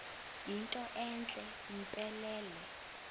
yinto entle mpelele